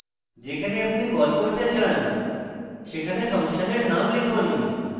যেখানে আপনি call করতে চান সেখানে ফাংশনের name লিখুন